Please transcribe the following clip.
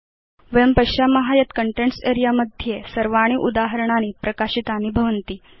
वयं पश्याम यत् कन्टेन्ट्स् अरेऽ मध्ये सर्वाणि उदाहरणानि प्रकाशितानि भवन्ति